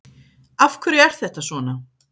Af hverju er þetta svona?